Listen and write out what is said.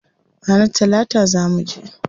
Ranar talata zaa muje.